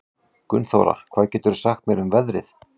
Gunnþóra, hvað geturðu sagt mér um veðrið?